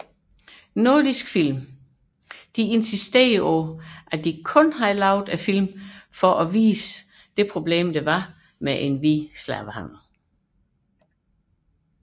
Nordisk Film insisterede på at de udelukkende lavede filmene for at belyse det sociale problem med hvid slavehandel